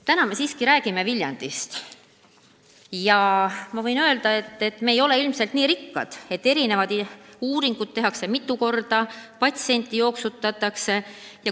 Täna me siiski räägime Viljandist ja ma võin öelda, et me ei ole ilmselt nii rikkad, et erinevaid uuringuid tehakse mitu korda, et patsienti jooksutatakse.